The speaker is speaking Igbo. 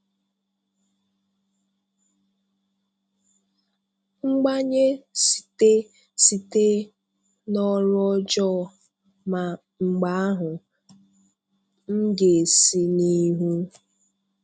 Mbànyè site site n’ọrụ́ ọjọọ, mà mgbe ahụ, m gā-esi n’ihu